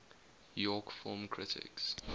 york film critics